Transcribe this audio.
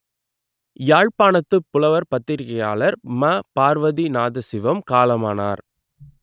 யாழ்ப்பாணத்துப் புலவர் பத்திரிகையாளர் ம பார்வதிநாதசிவம் காலமானார்